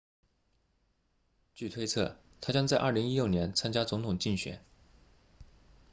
据推测他将在2016年参加总统竞选